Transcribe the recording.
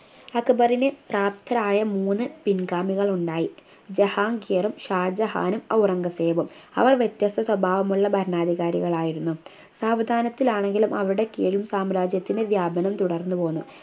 അക്ബറിനെ പ്രാപ്തരായ മൂന്ന് പിൻഗാമികൾ ഉണ്ടായി ജഹാംഗീറും ഷാജഹാനും ഔറംഗസേബും അവർ വ്യത്യസ്ത സ്വഭാവമുള്ള ഭരണാധികാരികളായിരുന്നു സാവധാനത്തിൽ ആണെങ്കിലും അവിടെക്കെയും സാമ്രാജ്യത്തിന് വ്യാപനം തുടർന്നു പോന്നു